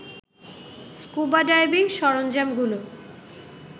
scuba diving সরঞ্জামগুলো